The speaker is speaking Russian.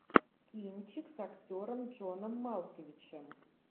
кинчик с актером джоном малковичем